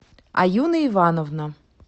аюна ивановна